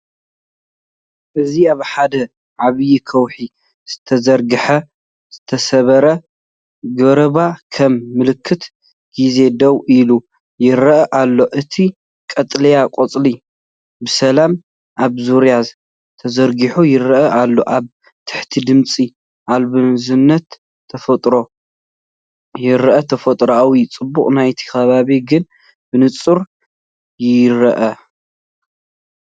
እዚ ኣብ ሓደ ዓቢይ ከውሒ ዝተዘርግሐ ዝተሰብረ ገረብ ከም ምልክት ግዜ ደው ኢሉ ይረአ ኣሎ። እቲ ቀጠልያ ቆጽሊ ብሰላም ኣብ ዙርያኣ ተዘርጊሑ ይረአ ኣሎ። ኣብ ታሕቲ ድምጺ ኣልቦዛንታ ተፈጥሮ ይረአ። ተፈጥሮኣዊ ጽባቐ ናይቲ ከባቢ ግን ብንጹር ይርአ።